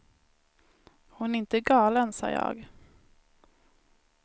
Hon är inte galen, sa jag.